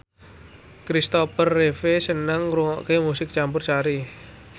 Kristopher Reeve seneng ngrungokne musik campursari